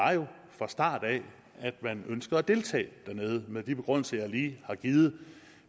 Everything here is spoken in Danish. var jo fra start af at man ønskede at deltage dernede med de begrundelser jeg lige har givet